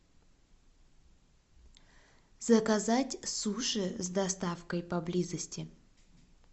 заказать суши с доставкой поблизости